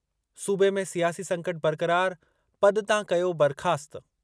सूबे में सियासी संकट बरक़रारु, पद तां कयो बरख़ास्तु।